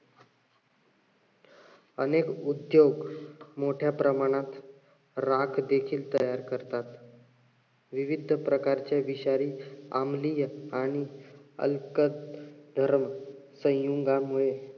अनेक उद्योग मोठ्या प्रमाणात राख देखील तयार करतात. विविध प्रकारचे विषारी अमली आणि अल्क अह धर हम्म सयुंगामुळे